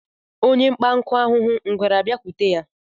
Onye kpata nkụ ahụhụ, ngwere a bịakwute ya